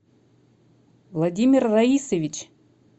владимир раисович